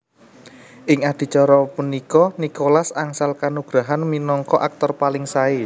Ing adicara punika Nicholas angsal kanugrahan minangka aktor paling sae